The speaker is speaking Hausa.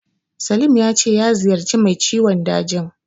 Salim ya ce ya ziyarci mai ciwon dajin.